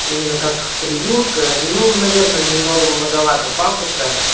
именно как превьюшка ну наверное немного многовато пафоса